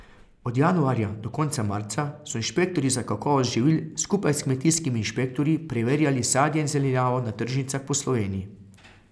Od januarja do konca marca so inšpektorji za kakovost živil skupaj s kmetijskimi inšpektorji preverjali sadje in zelenjavo na tržnicah po Sloveniji.